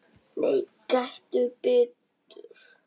Nei, gettu betur